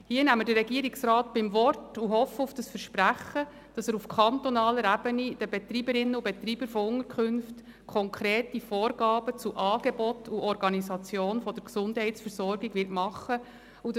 Hier nehmen wir den Regierungsrat beim Wort und hoffen, dass er auf kantonaler Ebene den Betreiberinnen und Betreibern von Unterkünften konkrete Vorgaben zu den Angeboten und zur Organisation der Gesundheitsversorgung machen wird.